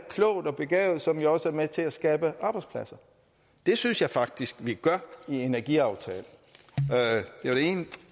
klogt og begavet så vi også er med til at skabe arbejdspladser det synes jeg faktisk at vi gør med energiaftalen det er det ene